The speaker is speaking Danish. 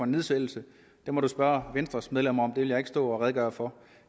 nedsættelse må man spørge venstres medlemmer om det vil jeg ikke stå og redegøre for